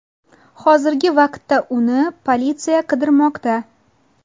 Hozirgi vaqtda uni politsiya qidirmoqda.